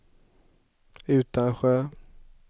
Utansjö